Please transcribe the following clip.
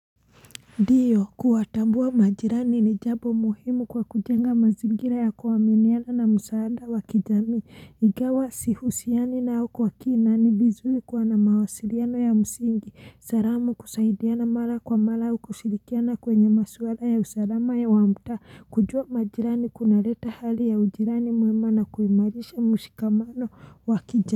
Ndiyo kuwatambua majirani ni jabo muhimu kwa kujenga mazingira ya kuaminiana na msaada wa kijami i ingawa sihusiani nao au kwa kina ni vizuri kwa na mawasiliano ya msingi saramu kusaidiana mara kwa mara u kushirikiana kwenye maswala ya usalama ya wamutaa kujua majirani kunaleta hali ya ujirani mwema na kuimarisha mushikamano wa kijamii.